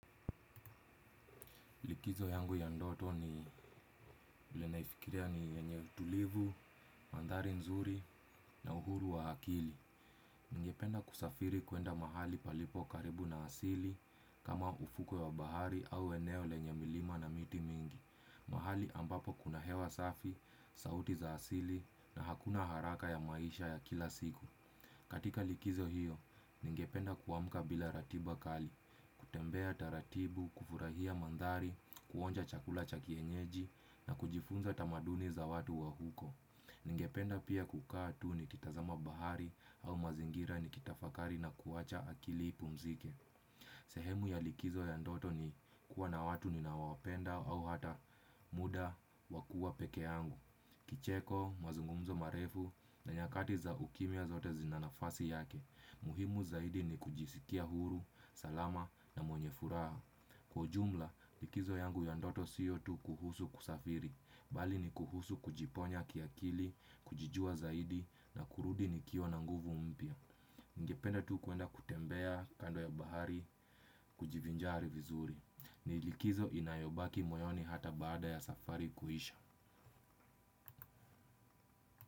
Likizo yangu ya ndoto ni ile naifikiria ni yenye utulivu, mandhari nzuri na uhuru wa hakili. Ningependa kusafiri kuenda mahali palipo karibu na asili kama ufuko ya bahari au eneo lenye milima na miti mingi. Mahali ambapo kuna hewa safi, sauti za asili na hakuna haraka ya maisha ya kila siku. Katika likizo hiyo, ningependa kuamka bila ratiba kali. Kutembea taratibu, kufurahia mandhari, kuonja chakula cha kienyeji na kujifunza tamaduni za watu wa huko. Ningependa pia kukaa tu nikitazama bahari au mazingira nikitafakari na kuwacha akili ipumzike. Sehemu ya likizo ya ndoto ni kuwa na watu ninaowapenda au hata muda wa kuwa pekeangu. Kicheko, mazungumzo marefu na nyakati za ukimya zote zina nafasi yake. Muhimu zaidi ni kujisikia huru, salama na mwenye furaha. Kwa jumla, likizo yangu ya ndoto siyo tu kuhusu kusafiri bali ni kuhusu kujiponya kiakili, kujijua zaidi na kurudi nikiwa na nguvu mpia. Ngependa tu kuenda kutembea kando ya bahari, kujivinjari vizuri. Ni likizo inayobaki moyoni hata baada ya safari kuhisha.